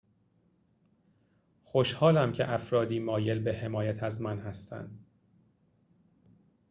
خوشحالم که افرادی مایل به حمایت از من هستند